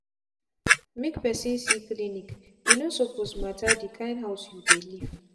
make person see clinice no suppose matter the kind house you dey live.